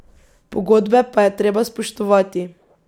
Pogodbe pa je treba spoštovati.